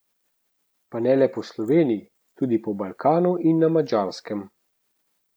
Pa ne le po Sloveniji, tudi po Balkanu in na Madžarskem.